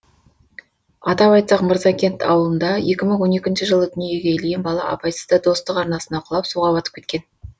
атап айтсақ мырзакент ауылында екі мың он екінші жылы дүниеге келген бала абайсызда достық арнасына құлап суға батып кеткен